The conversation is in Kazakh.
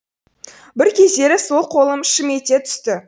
бір кездері сол қолым шым ете түсті